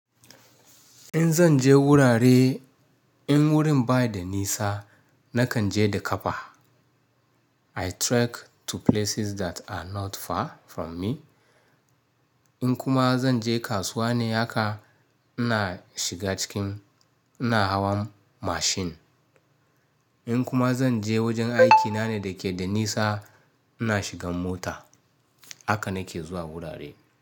In zan je wurare in wurin ba da nisa nakan je da ƙafa. I trek to places that are not far from me. In kuma zan je kasuwa ne haka ina shiga cikin ina hawa mashin. In kuma zan je wajen aikina ne da ke da nisa ina shigan mota. Haka nake zuwa wurare.